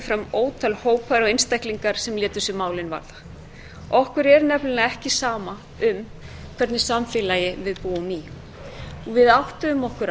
fram ótal hópar og einstaklingar sem létu sig málin varða okkur er nefnilega ekki sama í hvernig samfélagi við búum við áttuðum okkur